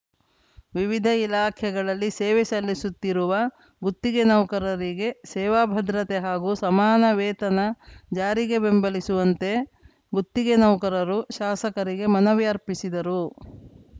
ವಿವಿಧ ಇಲಾಖೆಗಳಲ್ಲಿ ಸೇವೆ ಸಲ್ಲಿಸುತ್ತಿರುವ ಗುತ್ತಿಗೆ ನೌಕರರಿಗೆ ಸೇವಾ ಭದ್ರತೆ ಹಾಗು ಸಮಾನ ವೇತನ ಜಾರಿಗೆ ಬೆಂಬಲಿಸುವಂತೆ ಗುತ್ತಿಗೆ ನೌಕರರು ಶಾಸಕರಿಗೆ ಮನವಿ ಅರ್ಪಿಸಿದರು